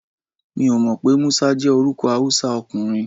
Mi ò mọ̀ pé Musa jẹ́ orúkọ Hausa ọkùnrin.